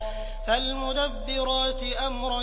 فَالْمُدَبِّرَاتِ أَمْرًا